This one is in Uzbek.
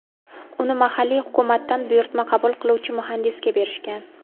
Uni mahalliy hukumatdan buyurtma qabul qiluvchi muhandisga berishgan.